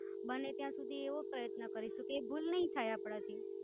બને ત્યાં સુધી એવો પ્રયત્ન કરીશું કે એ ભૂલ નાઈ થઇ આપણાથી.